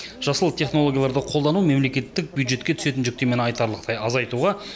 жасыл технологияларды қолдану мемлекеттік бюджетке түсетін жүктемені айтарлықтай азайтуға